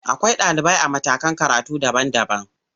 Akwai ɗalibai a matakan karatu daban-daban.